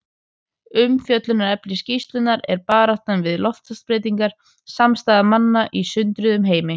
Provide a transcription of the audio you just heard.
Umfjöllunarefni skýrslunnar er Baráttan við loftslagsbreytingar: Samstaða manna í sundruðum heimi.